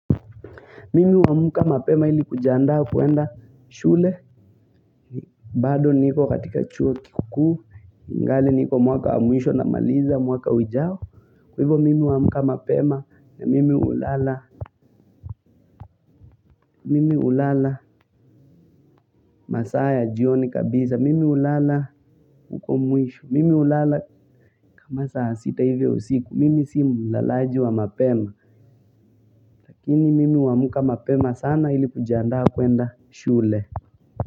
Mimi huwa amka mapema ili kujiandaa kuenda shule, bado niko katika chuo kikukuu, ingali niko mwaka wa mwisho na maliza mwaka ujao. Kwa hivyo mimi huwa amka mapema na mimi hulala, mimi hlala masaa ya jioni kabisa, mimi hulala huko muisho, mimi hulala kama saa sita hivyo siku, mimi si mlalaji wa mapema. Lakini mimi huamuka mapema sana ili kujiandaa kuenda shule.